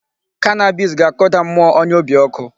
Cannabis ga-akụda mmụọ onye obi ọkụ.